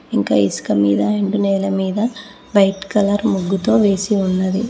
ఇంకా ఇసుక మీద ఎండు నేల మీద వైట్ కలర్ ముగ్గుతో వేసి ఉన్నది.